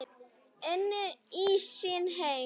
Inn í sinn heim.